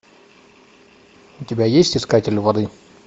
у тебя есть искатель воды